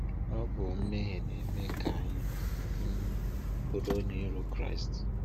Ọ bụ mmehie na-eme ka anyị um bụrụ onye iro Chúkwú.